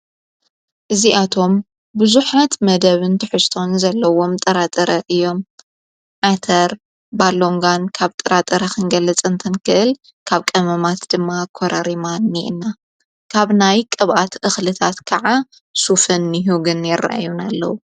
እዚኣቶም ብዙሓት መደብ ንቲ ሕስቶን ዘለዎም ጥራጥረ እዮም ዓተር ባሎንጓን ካብ ጥራጥረ ኽንገለፅ እንተንክእል ካብ ቀመማት ድማ ኰረሪማ ኒየና ካብ ናይ ቅባኣት ኣኽልታት ከዓ ሱፍን ሁግን የረዩን ኣለዉ።